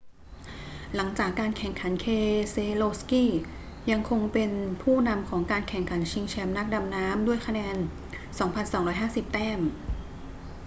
หลังจากการแข่งขัน keselowski ยังคงเป็นผู้นำของการแข่งขันชิงแชมป์นักดำน้ำด้วยคะแนน 2,250 แต้ม